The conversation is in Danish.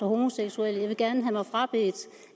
homoseksuelle jeg vil gerne have mig frabedt